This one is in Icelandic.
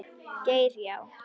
Geir Já.